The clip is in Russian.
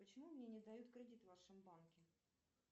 почему мне не дают кредит в вашем банке